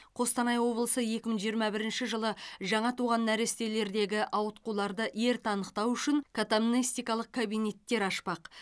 қостанай облысы екі мың жиырма бірінші жылы жаңа туған нәрестелердегі ауытқуларды ерте анықтау үшін катамнестикалық кабинеттер ашпақ